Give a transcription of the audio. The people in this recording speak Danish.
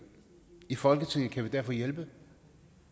i folketinget kan vi derfor hjælpe